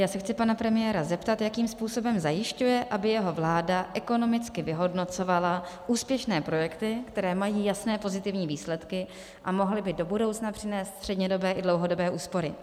Já se chci pana premiéra zeptat, jakým způsobem zajišťuje, aby jeho vláda ekonomicky vyhodnocovala úspěšné projekty, které mají jasné pozitivní výsledky a mohly by do budoucna přinést střednědobé i dlouhodobé úspory.